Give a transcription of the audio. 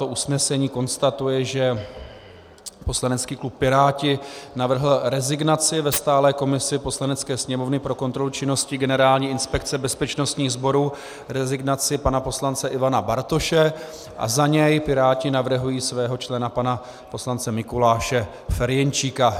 To usnesení konstatuje, že poslanecký klub Piráti navrhl rezignaci ve stálé komisi Poslanecké sněmovny pro kontrolu činnosti Generální inspekce bezpečnostních sborů, rezignaci pana poslance Ivana Bartoše, a za něj Piráti navrhují svého člena pana poslance Mikuláše Ferjenčíka.